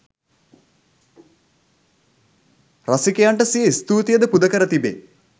රසිකයන්ට සිය ස්තූතියද පුදකර තිබේ